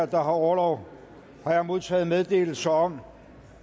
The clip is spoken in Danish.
der har orlov har jeg modtaget meddelelse om